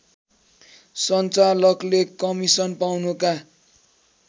सञ्चालकले commission पाउनुका